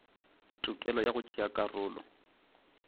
tokelo ya go tšea karolo